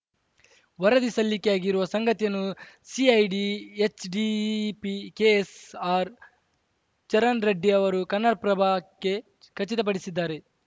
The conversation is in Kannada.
ವರದಿ ಸಲ್ಲಿಕೆಯಾಗಿರುವ ಸಂಗತಿಯನ್ನು ಸಿಐಡಿ ಎಚ್ ಡಿಪಿ ಕೆಎಸ್‌ಆರ್‌ಚರಣ್‌ರೆಡ್ಡಿ ಅವರು ಕನ್ನಡಪ್ರಭಕ್ಕೆ ಖಚಿತಪಡಿಸಿದ್ದಾರೆ